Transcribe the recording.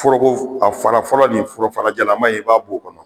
Foroko fara fɔlɔ nin forojalanma in i b'a bɔ o kɔnɔ